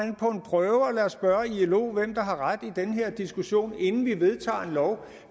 en prøve og lad os spørge ilo hvem der har ret i den her diskussion inden vi vedtager en lov